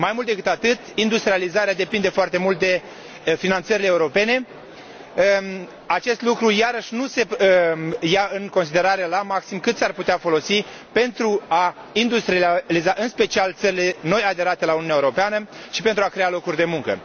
Mai mult decât atât, industrializarea depinde foarte mult de finanțările europene. Aici, iarăși, nu se ia în considerare la maxim cât s ar putea folosi pentru a industrializa în special țările nou aderate la Uniunea Europeană și pentru a crea locuri de muncă.